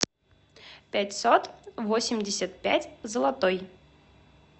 пятьсот восемьдесят пять золотой